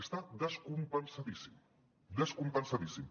està descompensadíssim descompensadíssim